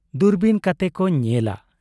ᱫᱩᱨᱵᱤᱱ ᱠᱚ ᱛᱮ ᱠᱚ ᱧᱮᱞᱟ ᱾